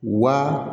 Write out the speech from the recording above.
Wa